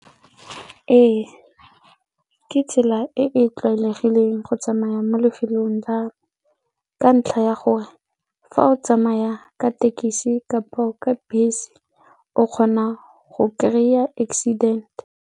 Ee, ke tsela e e tlwaelegileng go tsamaya mo lefelong la ka ntlha ya gore fa o tsamaya ka tekesi kapo ka bese o kgona go kry-a accident.